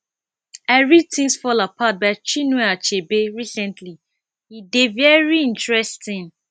i read things fall apart by chinue achebe recently e dey very interesting